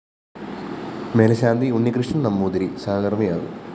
മേല്‍ശാന്തി Unnikrishnan‍ Namboothiri സഹകര്‍മ്മിയാകും